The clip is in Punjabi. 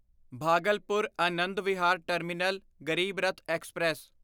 Bhagalpur Anand Vihar terminal Garib Rath express